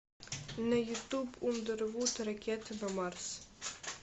на ютуб ундервуд ракеты на марс